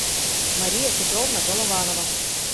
мария петровна голованова